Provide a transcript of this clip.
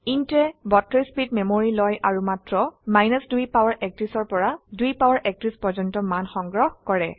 intয়ে 32 bit memory লয় আৰু মাত্ৰ 2 পাৱাৰ 31ৰ পৰা 2 পাৱাৰ 31 পৰ্যন্ত মান সংগ্ৰহ কৰে